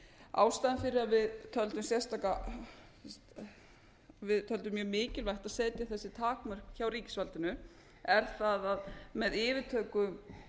ástæðan fyrir að við töldum mjög mikilvægt að setja þessi takmörk hjá ríkisvaldinu er sú að með yfirtöku